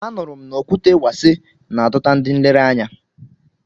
A nụrụ m na Okwute Wase na-adọta ndị nlereanya.